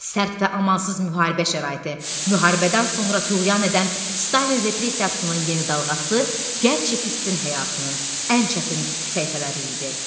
Sərt və amansız müharibə şəraiti, müharibədən sonra tüğyan edən Stalin repressiyasının yeni dalğası gənc çekistin həyatının ən çətin səhifələri idi.